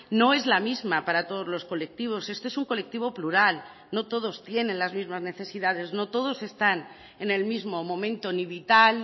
no es la misma para todos los colectivos este es un colectivo plural no todos tienen las mismas necesidades no todos están en el mismo momento ni vital